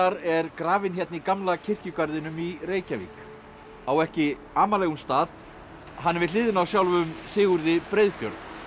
er grafinn hérna í gamla kirkjugarðinum í Reykjavík á ekki amalegum stað hann er við hliðina á sjálfum Sigurði Breiðfjörð